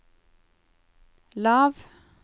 lav